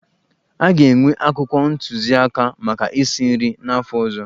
A ga-enwe akwụkwọ ntụziaka maka isi nri n'afọ ọzọ.